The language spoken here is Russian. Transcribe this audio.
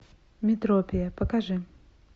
метропия покажи